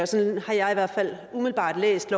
sådan har jeg i hvert fald umiddelbart læst